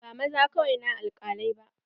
Ba maza kawai na alkalai ba.